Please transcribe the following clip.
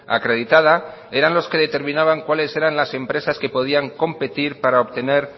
acreditada eran los que determinaban cuáles eran las empresas que podían competir para obtener